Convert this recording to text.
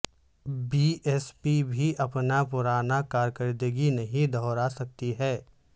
be S P بھی اپنا پرانا کارکردگی نہیں دہرا سکی ہے